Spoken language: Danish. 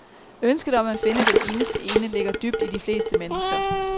Ønsket om at finde den eneste ene ligger dybt i de fleste mennesker.